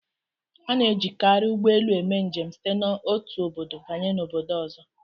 A na-ejikarị ụgbọelu eme njem site n'otu obodo banye obodo ọzọ